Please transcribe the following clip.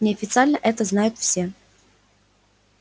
неофициально это знают все